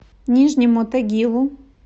нижнему тагилу